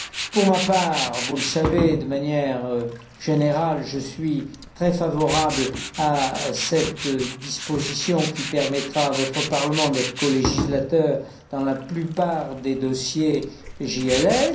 Pour ma part, vous le savez, de manière générale, je suis très favorable à cette disposition qui permettra à votre Parlement d'être colégislateur dans la plupart des dossiers JLS.